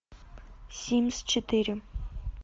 симс четыре